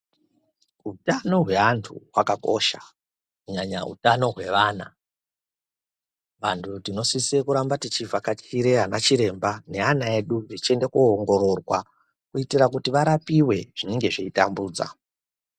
Utano hweantu hwakakosha kunyanya utano hwevana. Vantu tinosise kuramba tichivhakachire anachiremba neana edu techiende koongororwa kuitira kuti varapiwe zvinenge zveitambudza.